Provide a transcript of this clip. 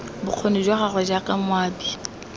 bokgoni jwa gagwe jaaka moabi